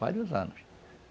Vários anos.